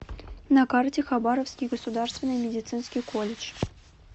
на карте хабаровский государственный медицинский колледж